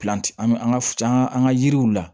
an ka an ka yiriw la